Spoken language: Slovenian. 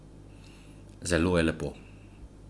Zelo je lepo.